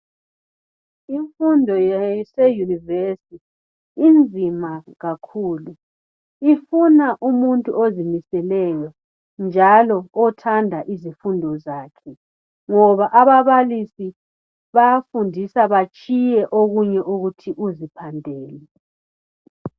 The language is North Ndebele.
Imfundo yase Yunivesi inzima kakhulu ifuna umuntu ozimiseleyo njalo othanda izifundo zakhe ngoba ababalisi bayafundisa batshiye okunye ukuthi uziphandele.